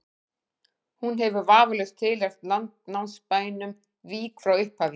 hún hefur vafalaust tilheyrt landnámsbænum vík frá upphafi